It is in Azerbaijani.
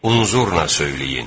Unzurna söyləyin!